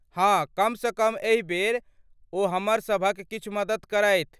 हाँ, कमसँ कम एहि बेर ओ हमरसभक किछु मदति करथि।